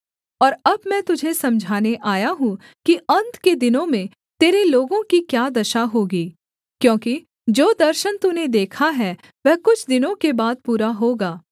और अब मैं तुझे समझाने आया हूँ कि अन्त के दिनों में तेरे लोगों की क्या दशा होगी क्योंकि जो दर्शन तूने देखा है वह कुछ दिनों के बाद पूरा होगा